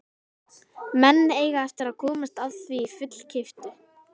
Menn eiga eftir að komast að því fullkeyptu.